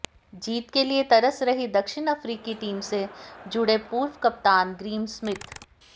जीत के लिए तरस रही दक्षिण अफ्रीकी टीम से जुड़े पूर्व कप्तान ग्रीम स्मिथ